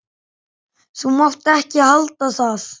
Þú mátt ekki halda að.